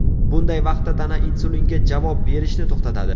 Bunday vaqtda tana insulinga javob berishni to‘xtatadi.